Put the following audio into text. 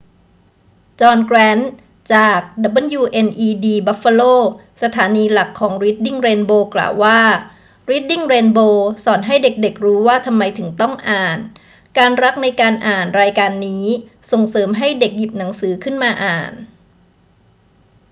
จอห์น แกรนต์ จาก wned buffalo สถานีหลักของรีดดิ้งเรนโบว์ กล่าวว่า รีดดิ้งเรนโบว์สอนให้เด็ก ๆ รู้ว่าทำไมถึงต้องอ่าน ... การรักในการอ่าน [รายการนี้] ส่งเสริมให้เด็กหยิบหนังสือขึ้นมาอ่าน